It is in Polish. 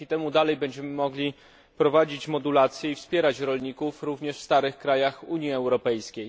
Dzięki temu dalej będziemy mogli prowadzić modulacje i wspierać rolników również w starych krajach Unii Europejskiej.